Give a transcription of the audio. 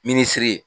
Minisiri ye